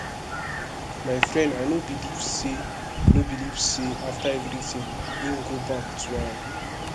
my dear i no believe say no believe say after everything im go back to am